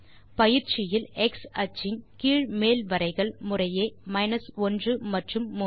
பயிற்சியில் x அச்சின் கீழ் மேல் வரைகள் முறையே 1 மற்றும் 3